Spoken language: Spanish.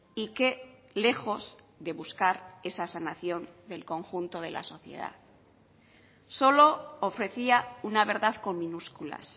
y que lejos de buscar esa sanación del conjunto de la sociedad solo ofrecía una verdad con minúsculas